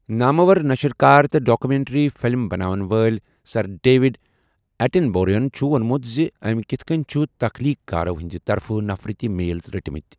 نامور نشٕر کار تہٕ ڈاکےمینٹری فِلِم بناون وٲلۍ سر ڈیوِڈ ایٚٹنبوروہن چُھ ووٚنمُت زِ أمۍ کِتھ کٔنۍ چھِ تخلیٖق کارو ہِنٛدِ طرفہٕ نفرتی میل رٔٹمٕتۍ۔